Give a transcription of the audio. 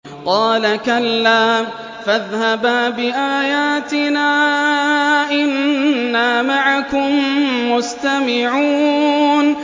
قَالَ كَلَّا ۖ فَاذْهَبَا بِآيَاتِنَا ۖ إِنَّا مَعَكُم مُّسْتَمِعُونَ